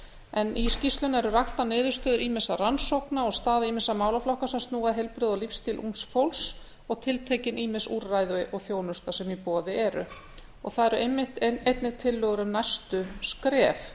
en í skýrslunni eru raktar niðurstöður ýmissa rannsókna og staða ýmissa málaflokka sem snúa að heilbrigði og lífsstíl ungs fólks og tiltekin ýmis úrræði og þjónusta sem í boði er þar eru einnig tillögur um næstu skref